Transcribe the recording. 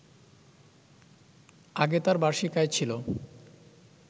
আগে তার বার্ষিক আয় ছিল